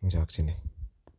eng chakchinet.